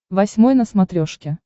восьмой на смотрешке